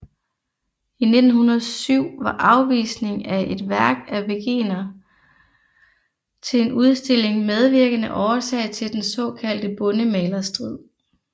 I 1907 var afvisning af et værk af Wegener til en udstilling medvirkende årsag til den såkaldte bondemalerstrid